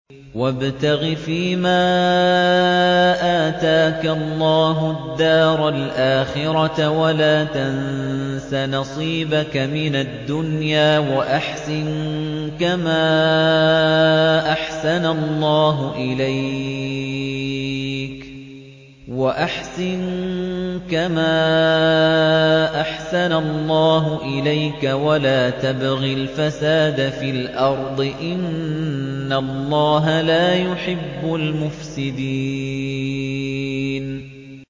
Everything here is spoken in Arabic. وَابْتَغِ فِيمَا آتَاكَ اللَّهُ الدَّارَ الْآخِرَةَ ۖ وَلَا تَنسَ نَصِيبَكَ مِنَ الدُّنْيَا ۖ وَأَحْسِن كَمَا أَحْسَنَ اللَّهُ إِلَيْكَ ۖ وَلَا تَبْغِ الْفَسَادَ فِي الْأَرْضِ ۖ إِنَّ اللَّهَ لَا يُحِبُّ الْمُفْسِدِينَ